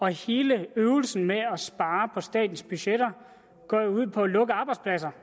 hele øvelsen med at spare på statens budgetter går jo ud på at lukke arbejdspladser